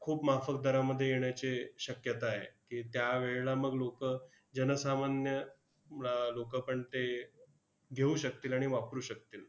खूप माफक दरामध्ये येण्याचे शक्यता आहे की, त्यावेळेला मग लोकं, जनसामान्य अह लोकं पण ते घेऊ शकतील आणि वापरू शकतील.